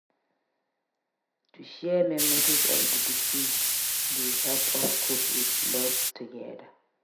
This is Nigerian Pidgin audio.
To share memories of di deceased dey help us cope with loss together.